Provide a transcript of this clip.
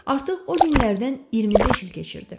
Artıq o günlərdən 25 il keçirdi.